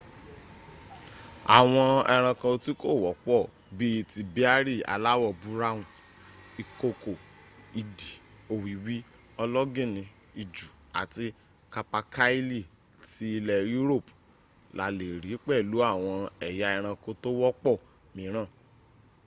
àwọn ẹranko tí kò wọ́pọ̀ bí i ti béárì aláwọ̀ búráwùn ìkokò idì òwìwí ológìnní ijù àti capercaillie ti ilẹ̀ europe la lè rí pẹ̀lú àwọn ẹ̀yà ẹranko tó wọ́pọ̀ míràn